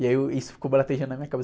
E aí, eu, isso ficou na minha cabeça.